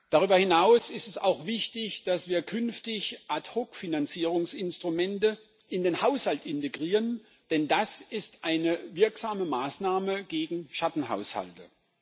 Darüber hinaus ist es auch wichtig, dass wir künftig Ad hoc Finanzierungsinstrumente in den Haushalt integrieren, denn das ist eine wirksame Maßnahme gegen Schattenhaushalte.